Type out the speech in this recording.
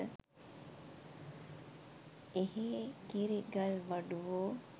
එහේ කිරි ගල් වඩුවෝ